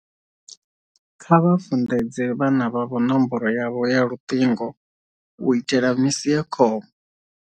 Kha vha funḓedze vhana vhavho nomboro yavho ya luṱingo u itela misi ya khombo.